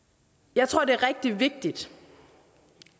jeg tror det er rigtig vigtigt